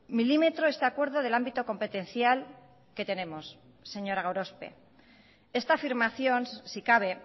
milímetro este acuerdo del ámbito competencial que tenemos señora gorospe esta afirmación si cabe